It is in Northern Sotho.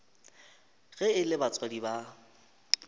ge e le batswadi ba